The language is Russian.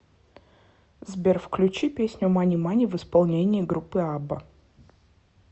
сбер включи песню мани мани в исполнении группы абба